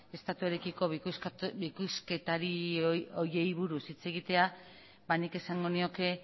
estatuarekiko bikoizketari horiei buruz hitz egitea nik esango nioke